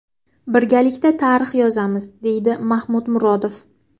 Birgalikda tarix yozamiz”, deydi Mahmud Murodov.